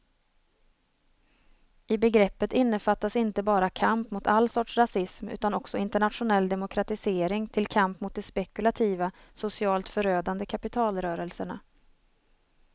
I begreppet innefattas inte bara kamp mot all sorts rasism utan också internationell demokratisering till kamp mot de spekulativa, socialt förödande kapitalrörelserna.